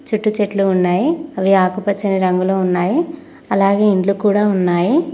చుట్టూ చెట్లు ఉన్నాయి అవి ఆకుపచ్చని రంగులో ఉన్నాయి అలాగే ఇండ్లు కూడా ఉన్నాయి.